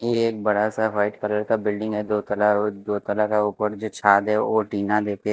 ये बड़ा सा व्हाइट कलर का बिल्डिंग है दो तला दो तला का ऊपर जो छाद है वो टीना देते--